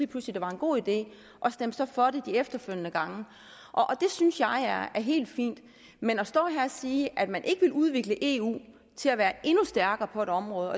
pludselig det var en god idé og stemte så for det de efterfølgende gange det synes jeg er helt fint men at stå her og sige at man ikke vil udvikle eu til at være endnu stærkere på et område